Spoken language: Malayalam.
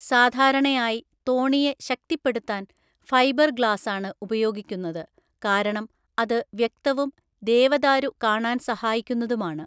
സാധാരണയായി തോണിയെ ശക്തിപ്പെടുത്താൻ ഫൈബർഗ്ലാസാണ് ഉപയോഗിക്കുന്നത്, കാരണം അത് വ്യക്തവും ദേവദാരു കാണാൻ സഹായിക്കുന്നതുമാണ്.